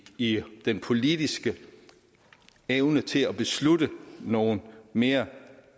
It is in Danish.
i den politiske evne til at beslutte nogle mere